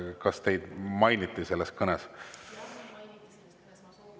Jah, mind mainiti selles kõnes, ma soovisin küll vastusõnavõttu.